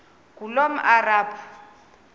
ngulomarabu